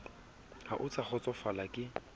ha o sa kgotsofala ke